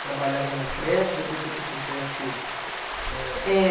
Trabalhava numa creche, depois tinha que ir para o Sesc, eh. É